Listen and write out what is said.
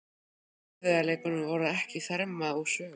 En erfiðleikarnir voru ekki þarmeð úr sögunni.